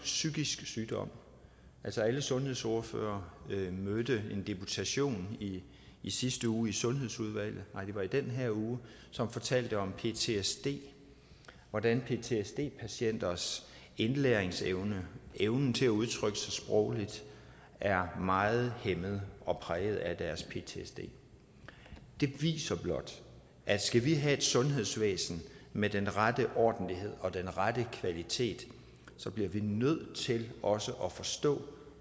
psykisk sygdom alle sundhedsordførere mødte en deputation i sidste uge i sundhedsudvalget nej det var i den her uge som fortalte om ptsd og hvordan ptsd patienters indlæringsevne evnen til at udtrykke sig sprogligt er meget hæmmet og præget af deres ptsd det viser blot at skal vi have et sundhedsvæsen med den rette ordentlighed og den rette kvalitet bliver vi nødt til også at forstå